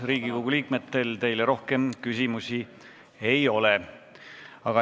Riigikogu liikmetel teile rohkem küsimusi ei ole.